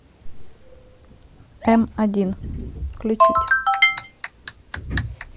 м один включить